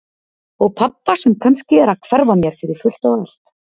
Og pabba sem kannski er að hverfa mér fyrir fullt og allt.